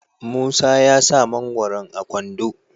musa ya sa mangoron a kwando